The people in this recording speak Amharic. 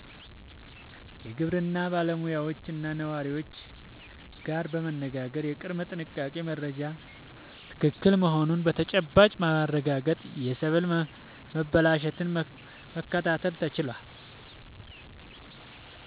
የግብርና ባለሙያዎችና ነዋሪዎች ጋር በመነጋገር የቅድመ-ጥንቃቄ መረጃው ትክክል መሆኑን በተጨባጭ በማረጋገጥ የሰብል መበላሸትን መከላከል ተችሏል።